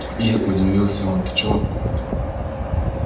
ир удивился он ты чего